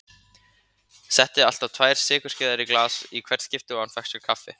Setti alltaf tvær sykurskeiðar í glas í hvert skipti og hann fékk sér kaffi.